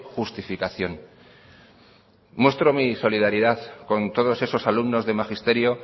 justificación muestro mi solidaridad con todos esos alumnos de magisterio